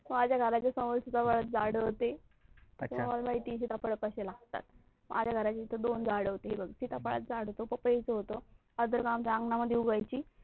माझ्या घराच्या समोर शिताफाळाची झाड होती तर मला माहिती आहे शिताफळ कशी लागतात माझ्या घर समोर दोन झाड होती हे बघ शिताफाळाच झाड होत पपई च होत, आमच्या अंगनामध्ये होती.